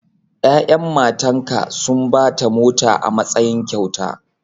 Ya'yan matanka sun ba ta mota a matsayin kyauta.